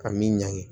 Ka min ɲagami